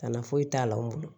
Kana foyi t'a la o bolo